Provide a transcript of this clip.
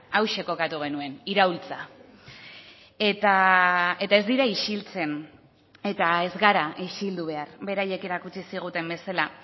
hauxe kokatu genuen iraultza eta ez dira isiltzen eta ez gara isildu behar beraiek erakutsi ziguten bezala